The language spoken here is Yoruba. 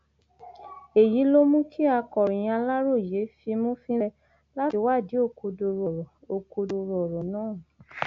èyí ló mú kí akọròyìn aláròye fimú fínlẹ láti wádìí òkodoro ọrọ òkodoro ọrọ náà